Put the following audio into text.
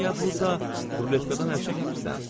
Olmaya burda ruletkadan əl çəkmirsən.